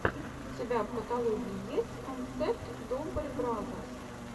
у тебя в каталоге есть концерт добре бразерс